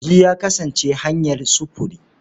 Kogi ya kasance hanyar sufuri.